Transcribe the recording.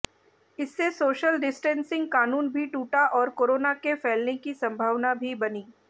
इससे social distancing कानून भी टूटा और कोरोना के फैलने की संभावना भी बनी